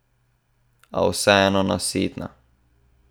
A vseeno nasitna!